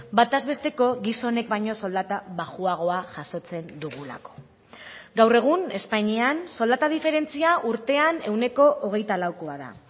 bataz besteko gizonek baino soldata baxuagoa jasotzen dugulako gaur egun espainian soldata diferentzia urtean ehuneko hogeita laukoa da